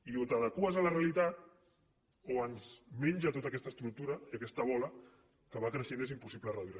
i o t’adeqües a la realitat o ens menja tota aquesta estructura i aquesta bola que va creixent i és impossible reduir la